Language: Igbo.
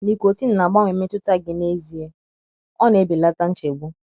Nicotine na -agbanwe mmetụta gị n’ezie; ọ na - ebelata nchegbu.